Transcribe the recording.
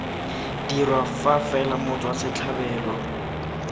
dirwa fa fela motswa setlhabelo